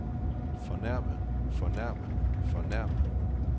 fornærme fornærme fornærme